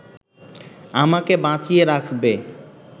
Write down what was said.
আমাকে বাঁচিয়ে রাখবে